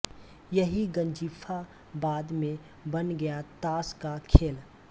यही गंजिफा बाद में बन गया ताश का खेल